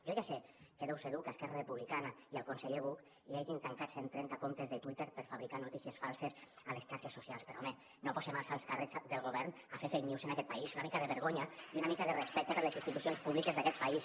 jo ja sé que deu ser dur que a esquerra republicana i al conseller buch els hagin tancat cent trenta comptes de twitter per fabricar notícies falses a les xarxes socials però home no posem els alts càrrecs del govern a fer fake news en aquest país una mica de vergonya i una mica de respecte per les institucions públiques d’aquest país